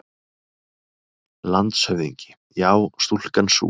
LANDSHÖFÐINGI: Já, stúlkan sú!